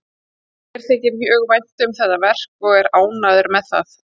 Mér þykir mjög vænt um þetta verk og er ánægður með það.